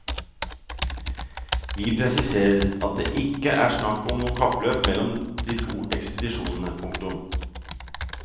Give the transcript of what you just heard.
Vi presiserer at det ikke er snakk om noe kappløp mellom de to ekspedisjonene. punktum